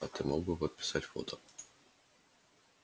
а ты мог бы подписать фото